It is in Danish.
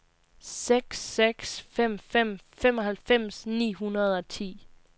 seks seks fem fem femoghalvfems ni hundrede og ti